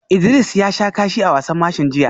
Idris ya sha kashi a wasan mashin jiya